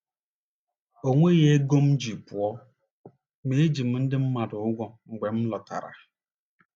O nweghị ego m ji pụọ, ma eji m ndị mmadụ ụgwọ mgbe m lọtara. ”